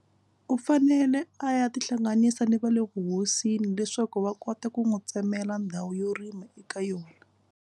U fanele a ya tihlanganisa ni va le vuhosini leswaku va kota ku n'wi tsemela ndhawu yo rima eka yona.